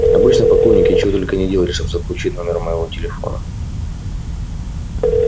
обычно поклонники чего только не делали чтобы заполучить номер моего телефона